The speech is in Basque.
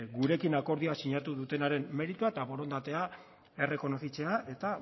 gurekin akordioa sinatu dutenaren meritua eta borondatea errekonozitzea eta